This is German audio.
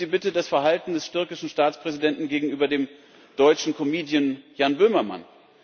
Nehmen Sie bitte das Verhalten des türkischen Staatspräsidenten gegenüber dem deutschen Comedian Jan Böhmermann.